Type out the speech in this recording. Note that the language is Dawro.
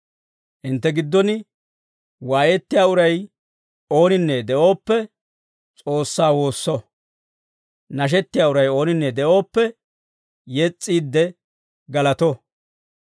Hintte giddon waayettiyaa uray ooninne de'ooppe, S'oossaa woosso; nashettiyaa uray ooninne de'ooppe, yes's'iide galato.